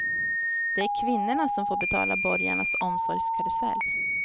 Det är kvinnorna som får betala borgarnas omsorgskarusell.